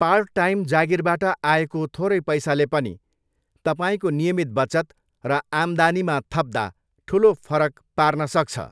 Part time जागिरबाट आएको थोरै पैसाले पनि तपाईँको नियमित बचत र आम्दानीमा थप्दा ठुलो फरक पार्न सक्छ।